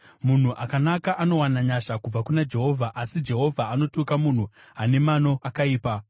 Munhu akanaka anowana nyasha kubva kuna Jehovha, asi Jehovha anotuka munhu ane mano akaipa.